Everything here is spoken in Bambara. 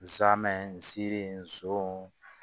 Nsaamɛ siri